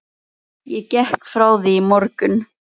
Ég gekk frá því í morgun.